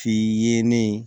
F'i yelen